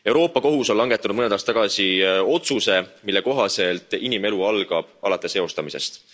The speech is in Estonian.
Euroopa Kohus on langetanud mõned aastad tagasi otsuse, mille kohaselt inimelu algab alates eostamisest.